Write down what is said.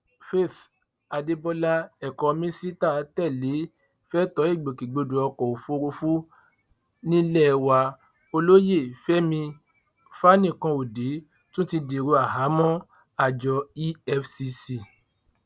faith adébọlá ẹkọ mínísítà tẹlẹ fẹtọ ìgbòkègbodò ọkọ òfurufú nílé wa olóyè fẹmi fanikanode tún ti dèrò àhámọ àjọ efcc